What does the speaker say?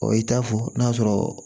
i t'a fɔ n'a sɔrɔ